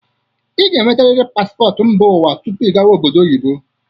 ị ga-enwetarịrị paspọtụ mba ụwa tupu ị gawa obodo oyibo.